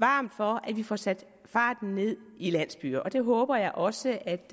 varmt for at vi får sat farten ned i landsbyerne og det håber jeg også at